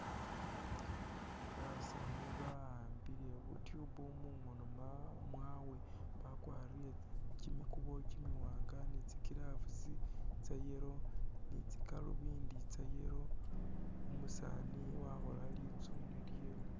Basawu ba'ambile bu'tube mungono ma mwawe bakwarile kyimikubo kyimiwanga ni tsi'gloves tsa'yellow ni tsi'galunvindi tsa'yellow, umusani wakhola litsune lyewe